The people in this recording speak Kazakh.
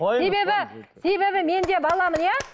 себебі себебі мен де баламын иә